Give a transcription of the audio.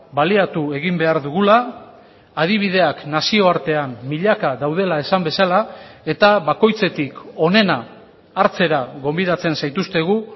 baliatu egin behar dugula adibideak nazioartean milaka daudela esan bezala eta bakoitzetik onena hartzera gonbidatzen zaituztegu